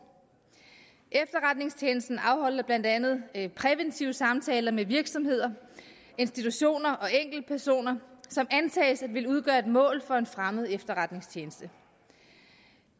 efterretningstjenesten afholder blandt andet præventive samtaler med virksomheder institutioner og enkeltpersoner som antages at ville udgøre et mål for en fremmed efterretningstjeneste